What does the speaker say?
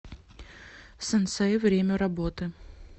синсэй время работы